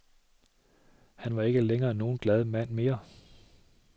Han var ikke længere nogen glad mand mere.